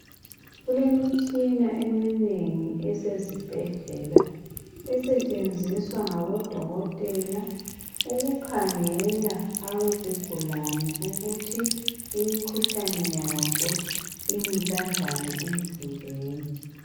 Kulemitshina eminengi esezibhedlela esetshenziswa ngabodokotela ukukhangela izigulane ukuthi imkhuhlane yazo imi kanjani emzimbeni.